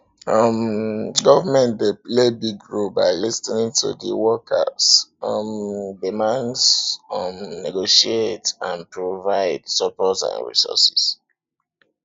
um government dey play big role by lis ten ing to di workers um demands um negotiate and provide support and resources